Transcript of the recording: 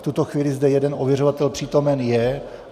V tuto chvíli zde jeden ověřovatel přítomen je.